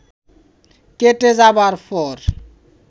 কেটে যাবার পর